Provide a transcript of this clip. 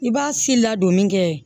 I b'a si ladonni kɛ